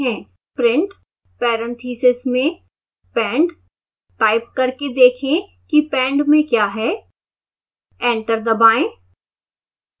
print parentheses मेंpend type करके देखें कि pend में क्या है एंटर दबाएं